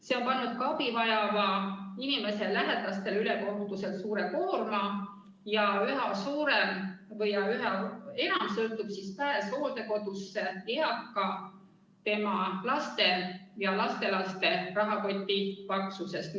See on pannud ka abi vajava inimese lähedastele ülekohtuselt suure koorma ning üha enam sõltub pääs hooldekodusse eaka enda, tema laste ja lastelaste rahakoti paksusest.